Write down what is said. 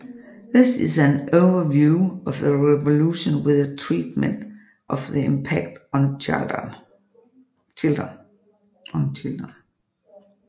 This is an overview of the Revolution with a treatment of the impact on children